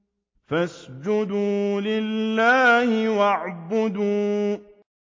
فَاسْجُدُوا لِلَّهِ وَاعْبُدُوا ۩